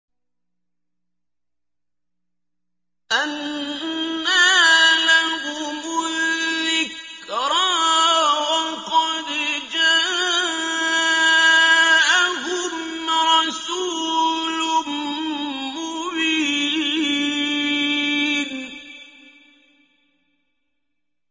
أَنَّىٰ لَهُمُ الذِّكْرَىٰ وَقَدْ جَاءَهُمْ رَسُولٌ مُّبِينٌ